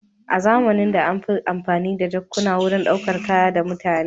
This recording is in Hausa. A zamanin da an fi amfani da jakuna wurin ɗaukar kaya da mutane.